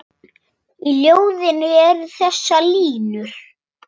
Í ljóðinu eru þessar línur